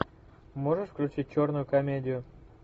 можешь включить черную комедию